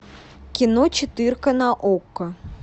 кино четырка на окко